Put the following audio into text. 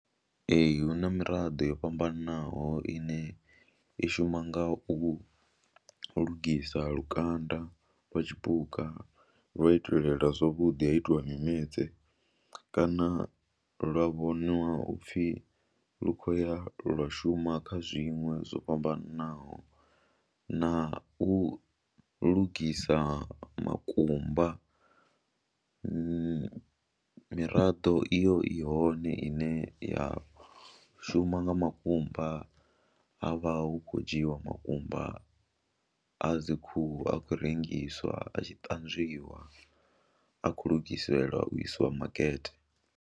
Ee, hu na miraḓo yo fhambanaho ine i shuma nga u lugisa lukanda lwa tshipuka lwa itelela zwavhuḓi ha itiwa mimetse kana lwa vhoniwa u pfhi lu khou ya lwa shuma kha zwiṅwe zwo fhambanaho na u lugisa makumba, miraḓo iyo i hone ine ya shuma nga makumba ha vha hu khou dzhiiwa makumba a dzi khuhu a khou rengiswa a tshi ṱanzwiwa a khou lugiselua u isiwa makete.